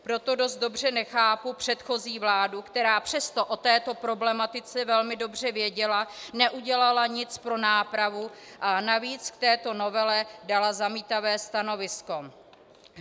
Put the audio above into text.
Proto dost dobře nechápu předchozí vládu, která přestože o této problematice velmi dobře věděla, neudělala nic pro nápravu a navíc k této novele dala zamítavé stanovisko.